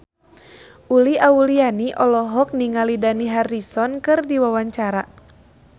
Uli Auliani olohok ningali Dani Harrison keur diwawancara